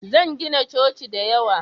Zan gina coci da yawa